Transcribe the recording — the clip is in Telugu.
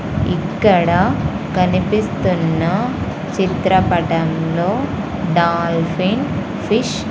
ఇక్కడ కనిపిస్తున్న చిత్రపటంలో డాల్ఫిన్ ఫిష్--